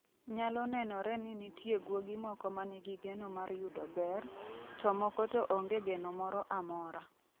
Nyalo nenore ni nitie guogi moko ma nigi geno mar yudo ber, to moko to onge geno moro amora.